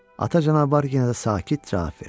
Ata canavar yenə də sakit cavab verdi.